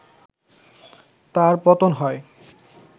তার পতন হয়